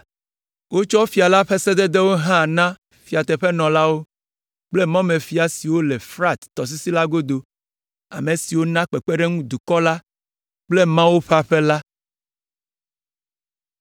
Wotsɔ fia la ƒe sededewo hã na fiateƒenɔlawo kple mɔmefia siwo le Frat tɔsisi la godo, ame siwo na kpekpeɖeŋu dukɔ la kple Mawu ƒe aƒe la.